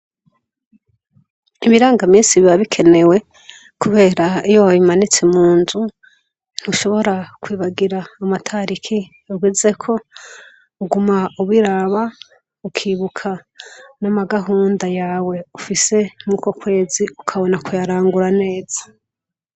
Ibirangaminsi biba bikenewe kubera iyo babimanitse munzu ntushobora kwibagira amatariki ugezeko uguma ubiraba ukibuka n'amagahunda yawe ufise nk'uko kwezi ukabona kuyarangura neza.